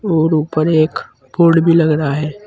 और ऊपर एक बोर्ड भी लग रहा है।